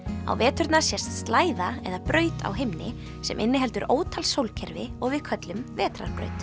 á veturna sést eða braut á himni sem inniheldur ótal sólkerfi og við köllum vetrarbraut